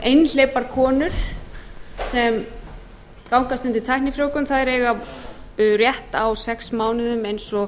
einhleypar konur sem gangast undir tæknifrjóvgun þær eiga rétt á sex mánuðum eins og